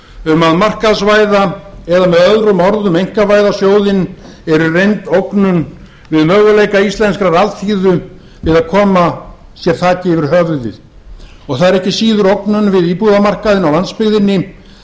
um að markaðsvæða eða með öðrum orðum einkavæða sjóðinn eru í reynd ógnun við möguleika íslenskrar alþýðu við að koma sér upp þaki yfir höfuðið og það er ekki síður ógnun við íbúðamarkaðinn á landsbyggðinni